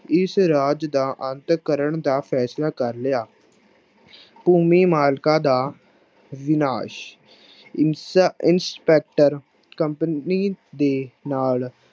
ਇਸ ਰਾਜ ਦਾ ਅੰਤ ਕਰਨ ਦਾ ਫੈਸਲਾ ਕਰ ਲਿਆ ਭੂਮੀ ਮਾਲਕਾਂ ਦਾ ਵਿਨਾਸ, ਇਸ ਇੰਸਪੈਕਟਰ company ਦੇ ਨਾਲ